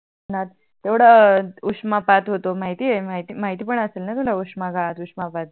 तेवड उष्णपात होतो माहिती आहे माहिती पण असेल णा तुला उष्णघात उष्णपात